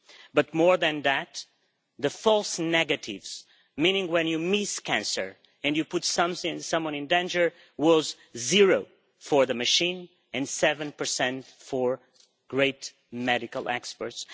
But more than that, the false negatives meaning when you miss cancer and you put someone in danger was zero for the machine and 7 for great medical experts.